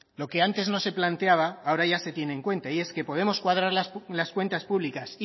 lo que antes no se planteaba ahora ya se tiene en cuenta y es que podemos cuadrar las cuentas públicas